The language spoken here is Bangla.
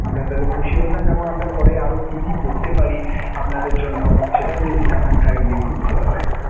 আমরা তাহলে খুশি হতাম এবং আমরা পরে আরও কী কী করতে পারি আপনাদের জন্য সেটাও যদি জানান kindly খুব ভালো হয়.